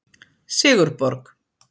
Sigurborg